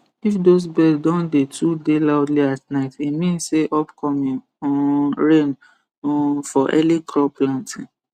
if those birds don dey too dey loudly at night e mean say upcoming um rain um for early crop planting